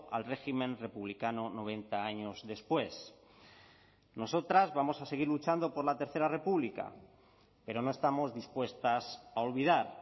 al régimen republicano noventa años después nosotras vamos a seguir luchando por la tercera república pero no estamos dispuestas a olvidar